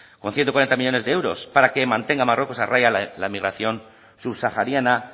con ciento cuarenta millónes de euros para que mantenga marruecos a raya la emigración subsahariana